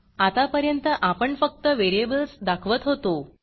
आतापर्यंत आपण फक्त व्हेरिएबल्स दाखवत होतो